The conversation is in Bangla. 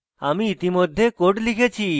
আমি ইতিমধ্যে code লিখেছি